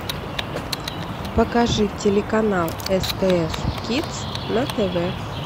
покажи телеканал стс кидс на тв